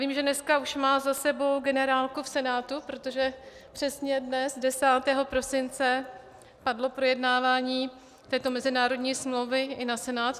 Vím, že dneska už má za sebou generálku v Senátu, protože přesně dnes, 10. prosince, padlo projednávání této mezinárodní smlouvy i na Senát.